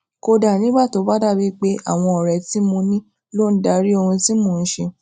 kódà nígbà tó bá dàbíi pé àwọn òré tí mo ní ló ń darí ohun tí mò n ṣe